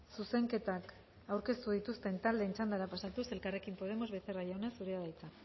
zuzenketak aurkeztu dituzten taldeen txandara pasatuz elkarrekin podemos becerra jauna zurea da hitza